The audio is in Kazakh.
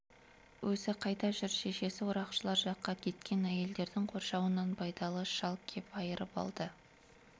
өзі қайда жүр шешесі орақшылар жаққа кеткен әйелдердің қоршауынан байдалы шал кеп айырып алды